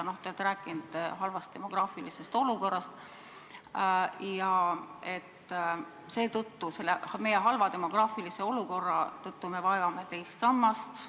Te olete rääkinud halvast demograafilisest olukorrast ja et selle halva demograafilise olukorra tõttu me vajame teist sammast.